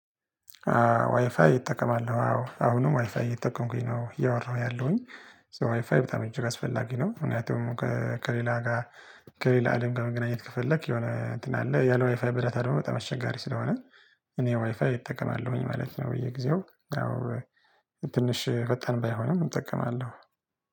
ዋይፋይ እጠቀማለሁ አዎ አሁንም ዋይፋይ እየተጠቀምኩኝ ነው እያወራሁ ያለሁኝ ሶ ዋይ ፋይ በጣም እጅግ አስፈላጊ ነው። ምክንያቱም ከሌላ ጋር። ከሌላ አለም ከመገናኘት ከፈለክ የሆነ እንትን አለ ያለው ዋይፋይ በዳታ ደግሞ በጣም አስቸጋሪ ስለሆነ እኔ ዋይፋይ እጠቀማለሁኝ ማለት ነው። በየጊዜው ትንሽ ፈጣን ባይሆንም እጠቀማለሁ